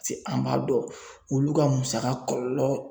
se an m'a dɔn olu ka musaka kɔlɔlɔ